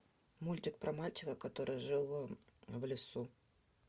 мультик про мальчика который жил в лесу